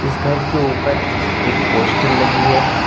इस घर के ऊपर एक पोस्टर लगी है।